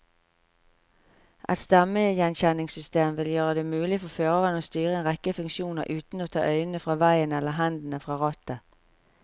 Et stemmegjenkjenningssystem vil gjøre det mulig for føreren å styre en rekke funksjoner uten å ta øynene fra veien eller hendene fra rattet.